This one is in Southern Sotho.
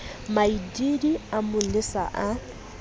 maidiidi a mo lesa a